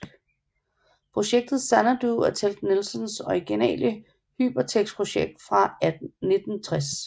Projekt Xanadu er Ted Nelsons originale Hypertekstprojekt fra 1960